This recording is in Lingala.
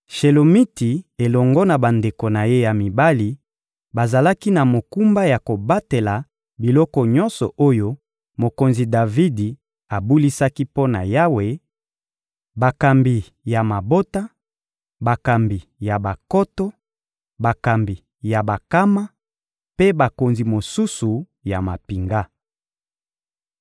Shelomiti elongo na bandeko na ye ya mibali bazalaki na mokumba ya kobatela biloko nyonso oyo mokonzi Davidi abulisaki mpo na Yawe; bakambi ya mabota, bakambi ya bankoto, bakambi ya bankama mpe bakonzi mosusu ya mampinga.